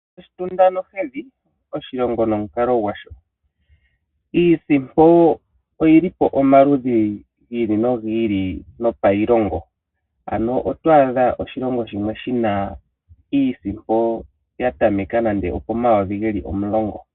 Oshitunda nohedhi, oshilongo nomukalo gwasho. Iisimpo oyili po omaludhi gi ili nogi ili gopailongo, ano oto adha oshilongo shimwe shina iisimpo yatameka nande opomayovi geli 10.